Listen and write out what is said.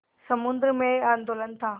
समुद्र में आंदोलन था